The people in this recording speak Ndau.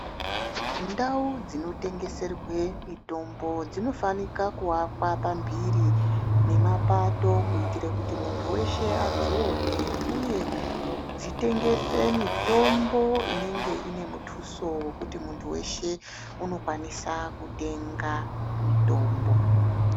Ndau dzinotengeserwe mitombo dzinofanika kuvakwa pamhiri nemapato. Kuita kuti muntu veshe adzione ,uye dzitengese mitombo inenge ine mutuso wekuti muntu weshe unokwanisa kutenga mitombo.